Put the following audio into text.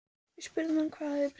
Við spurðum hann hvað hafi breyst?